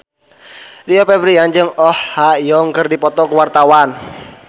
Rio Febrian jeung Oh Ha Young keur dipoto ku wartawan